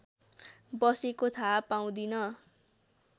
बसेको थाहा पाउँदिन